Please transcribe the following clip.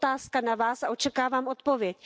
Je to otázka na Vás a očekávám odpověď.